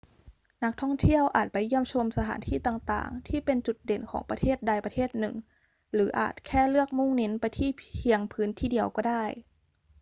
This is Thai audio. นักท่องเที่ยวอาจไปเยี่ยมชมสถานที่ต่าง ๆ ที่เป็นจุดเด่นของประเทศใดประเทศหนึ่ง หรืออาจแค่เลือกมุ่งเน้นไปที่เพียงพื้นที่เดียวก็ได้